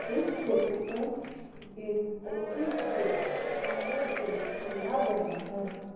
इस फोटो को एक ऑफिस के अंदर से खोला गया है।